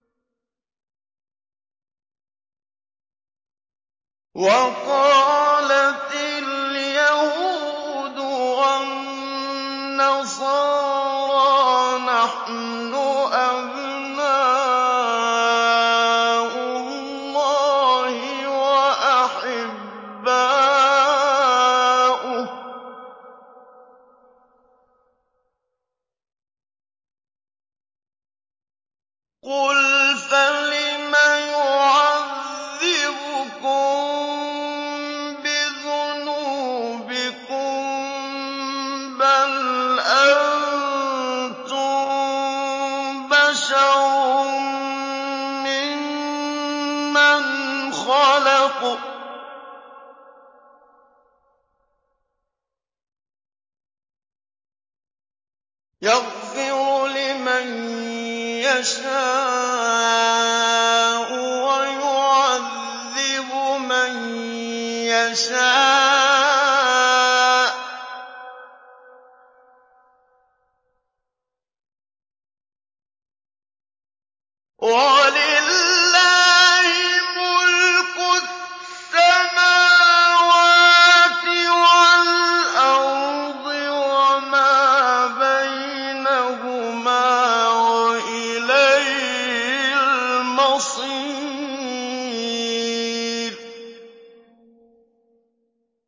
وَقَالَتِ الْيَهُودُ وَالنَّصَارَىٰ نَحْنُ أَبْنَاءُ اللَّهِ وَأَحِبَّاؤُهُ ۚ قُلْ فَلِمَ يُعَذِّبُكُم بِذُنُوبِكُم ۖ بَلْ أَنتُم بَشَرٌ مِّمَّنْ خَلَقَ ۚ يَغْفِرُ لِمَن يَشَاءُ وَيُعَذِّبُ مَن يَشَاءُ ۚ وَلِلَّهِ مُلْكُ السَّمَاوَاتِ وَالْأَرْضِ وَمَا بَيْنَهُمَا ۖ وَإِلَيْهِ الْمَصِيرُ